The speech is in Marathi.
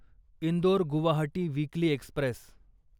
Indore Guwahati weekly Express